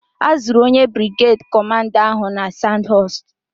A zụrụ onye brigeed kọmanda ahụ na Sadhọọst.